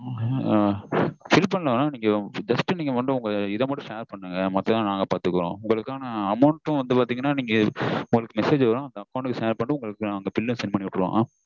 ஆஹ் send பண்ணுங்க mam just நீங்க இத மட்டும் share பண்ணுங்க நாங்க உங்களுக்கு bill send பண்ணி விட்டுருவொம்.